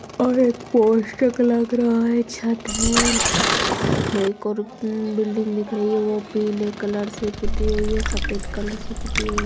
और एक पोस्टर लग रहा है छत है एक और बिल्डिंग दिख रही है वो भी पिले कलर से पुती हुई है सफेद कलर से पुती हुई।